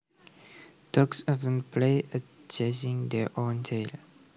Dogs often play at chasing their own tail